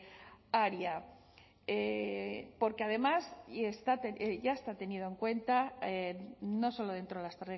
área porque además y ya está tenido en cuenta no solo dentro de las